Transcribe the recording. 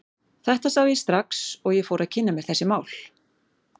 Þetta sá ég strax og ég fór að kynna mér þessi mál.